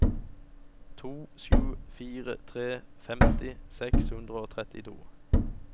to sju fire tre femti seks hundre og trettito